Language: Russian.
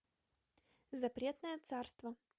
запретное царство